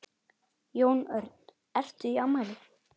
Jón Örn: Ertu í afmæli?